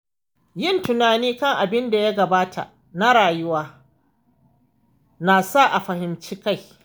Yin tunani kan abinda ya gabata na rayuwa nasa a fahimci kai.